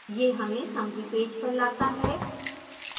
यह हमें summary page पर लाता है